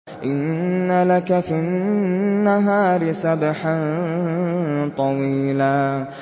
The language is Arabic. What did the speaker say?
إِنَّ لَكَ فِي النَّهَارِ سَبْحًا طَوِيلًا